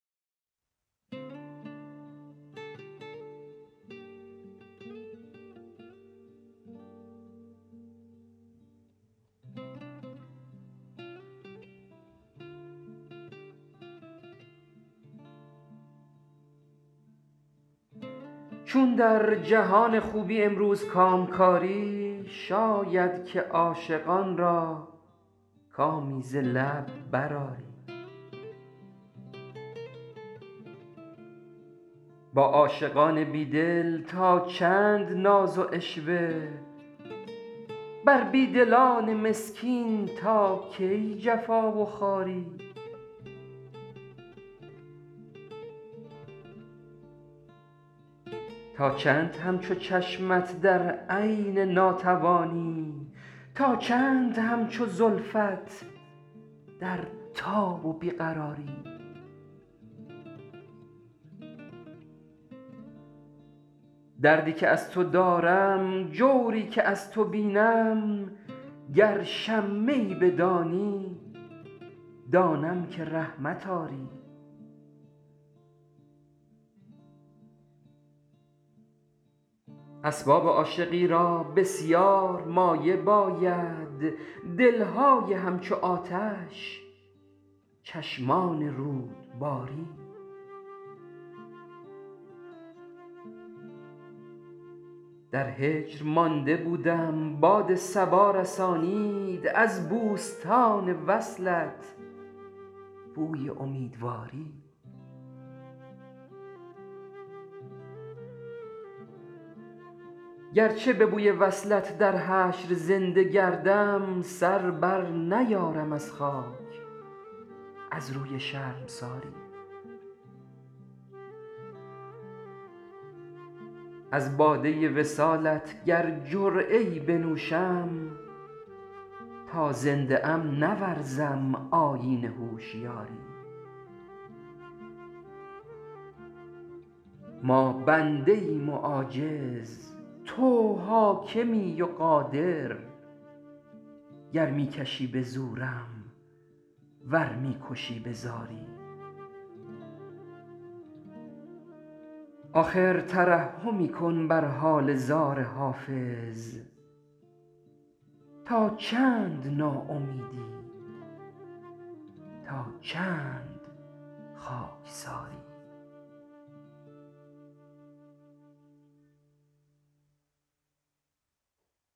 چون در جهان خوبی امروز کامکاری شاید که عاشقان را کامی ز لب بر آری با عاشقان بیدل تا چند ناز و عشوه بر بیدلان مسکین تا کی جفا و خواری تا چند همچو چشمت در عین ناتوانی تا چند همچو زلفت در تاب و بی قراری دردی که از تو دارم جوری که از تو بینم گر شمه ای بدانی دانم که رحمت آری اسباب عاشقی را بسیار مایه باید دلهای همچو آتش چشمان رود باری در هجر مانده بودم باد صبا رسانید از بوستان وصلت بوی امیدواری گرچه به بوی وصلت در حشر زنده گردم سر بر نیارم از خاک از روی شرمساری از باده وصالت گر جرعه ای بنوشم تا زنده ام نورزم آیین هوشیاری ما بنده ایم و عاجز تو حاکمی و قادر گر می کشی به زورم ور می کشی به زاری آخر ترحمی کن بر حال زار حافظ تا چند ناامیدی تا چند خاکساری